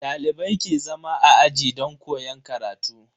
Dalibai ke zama a aji don koyon karatu.